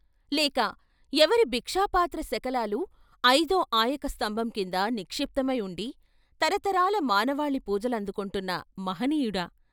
లేక ఎవరి భిక్షాపాత్ర శకలాలు ఐదో ఆయక స్తంభంకింద నిక్షిప్తమై ఉండి తరతరాల మానవాళి పూజలందుకొంటున్న మహనీయుడా?